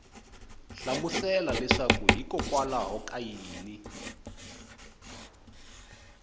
hlamusela leswaku hikwalaho ka yini